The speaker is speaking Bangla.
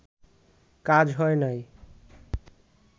কাজ হয় নাই